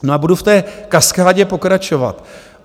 No a budu v té kaskádě pokračovat.